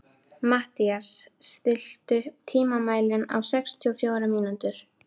Mathías, stilltu tímamælinn á sextíu og fjórar mínútur.